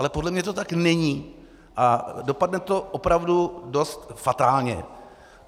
Ale podle mě to tak není a dopadne to opravdu dost fatálně.